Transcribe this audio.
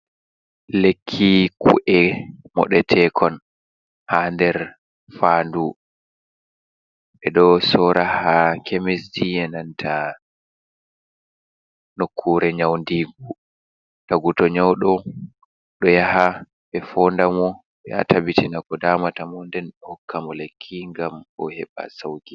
Lekki ku’e moɗetekon ha nder fa ndu ɓe ɗo sora ha kemisji, enanta nokkure nyau ndigu. Tagu to nyauɗo ɗo yaha ɓe fo nda mo ɓe tabbitina ko damata mo nden ɓe hokka mo lekki ngam o heɓa sauki.